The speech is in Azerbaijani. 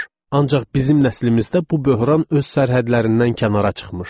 Ancaq bizim nəslimizdə bu böhran öz sərhədlərindən kənara çıxmışdı.